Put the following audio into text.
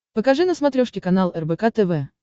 покажи на смотрешке канал рбк тв